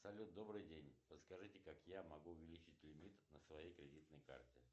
салют добрый день подскажите как я могу увеличить лимит на своей кредитной карте